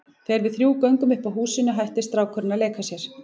Þegar við þrjú göngum upp að húsinu hættir strákurinn að leika sér.